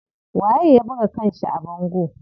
Waye ya buga kanshi a bango?